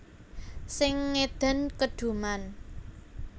Sing ngedan keduman